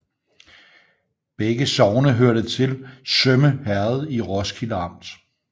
Begge sogne hørte til Sømme Herred i Roskilde Amt